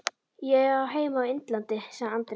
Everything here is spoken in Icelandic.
Ég á heima á Innlandi, sagði Andri.